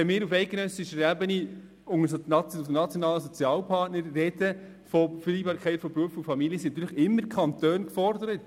Wenn wir auf eidgenössischer Ebene mit nationalen Sozialpartnern über die Vereinbarkeit von Beruf und Familie sprechen, sind die Kantone immer gefordert.